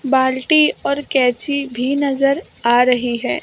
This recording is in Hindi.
बाल्टी और कैची भी नजर आ रही है।